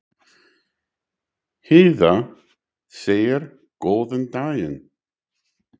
Heiða segir góðan daginn!